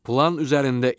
Plan üzərində iş.